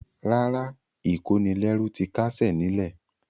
Rárá, ìkónilẹ́rú ti káṣẹ̀ ní lẹ̀.